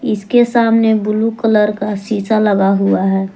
इसके सामने blue colour का शीशा लगा हुआ है।